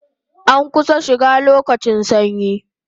An kusan shiga lokacin sanyi